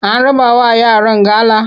An rabawa yaran gala?